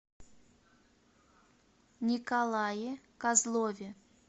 николае козлове